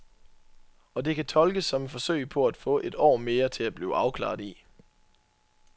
Og det kan tolkes som et forsøg på at få et år mere til at blive afklaret i.